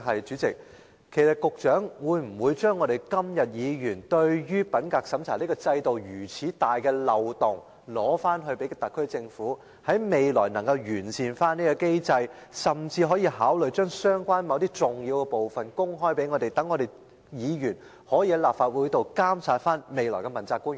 主席，我想問的是：鑒於議員今天對品格審查制度存在重大漏洞所表達的關注，局長會否要求特區政府研究未來如何完善有關機制，甚至考慮將某些相關的重要資料公開，讓議員能夠在立法會內監察未來的問責官員？